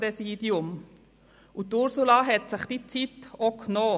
Ursula Zybach hat sich diese Zeit genommen.